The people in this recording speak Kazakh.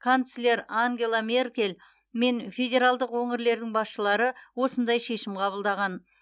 канцлер ангела меркель мен федералдық өңірлердің басшылары осындай шешім қабылдаған